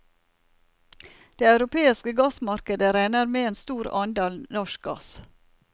Det europeiske gassmarkedet regner med en stor andel norsk gass.